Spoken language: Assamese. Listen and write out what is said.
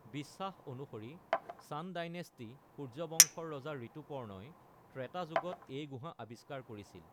বিশ্বাস অনুসৰি চান ডাইনেষ্টী (সূৰ্য বংশ)-ৰ ৰজা ঋতুপৰ্ণই ত্ৰেতা যুগত এই গুহা আবিষ্কাৰ কৰিছিল।